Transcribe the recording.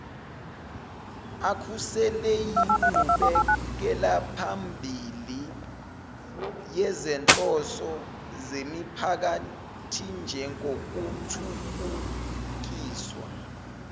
akhuseleinqubekelaphambili yezinhloso zemiphakathinjengokuthuthukiswa